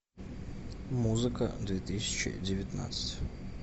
музыка две тысячи девятнадцать